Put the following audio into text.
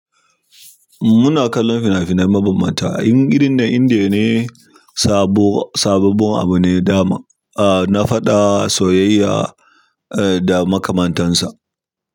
Muna kallon fina-finai mabambanta. A irin na Indiya ne, sabo, sabobbin abu ne. Da ma, ah na faɗa soyayya eh da makamantansa.